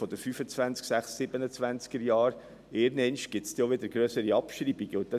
In den Jahren 2026 oder 2027 wird es auch wieder grössere Abschreibungen geben.